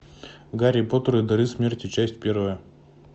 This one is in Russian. гарри поттер и дары смерти часть первая